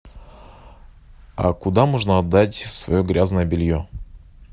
а куда можно отдать свое грязное белье